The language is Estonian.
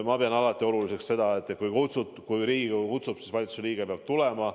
Ma pean alati oluliseks seda, et kui Riigikogu kutsub valitsuse liikme Riigikokku, siis ta peab tulema.